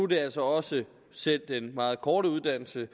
det altså også selv den meget korte uddannelse